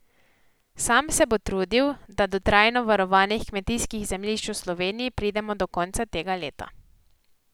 Sam se bo trudil, da do trajno varovanih kmetijskih zemljišč v Sloveniji pridemo do konca tega leta.